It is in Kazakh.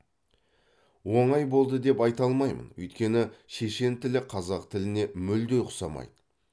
оңай болды деп айта алмаймын өйткені шешен тілі қазақ тіліне мүлде ұқсамайды